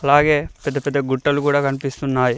అలాగే పెద్ద పెద్ద గుట్టలు కూడా కనిపిస్తున్నాయ్.